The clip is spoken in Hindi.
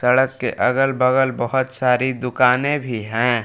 सड़क के अगल बगल बहोत सारी दुकानें भी है।